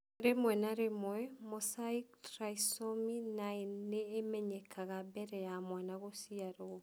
Rĩmwe na rĩmwe, mosaic trisomy 9 nĩ ĩmenyekaga mbere ya mwana gũciarũo